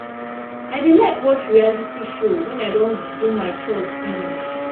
i dey like watch reality show wen i don do my chores finish